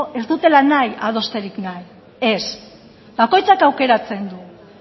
ez dutela nahi adosterik nahi ez bakoitzak aukeratzen du